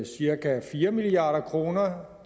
cirka fire milliard kroner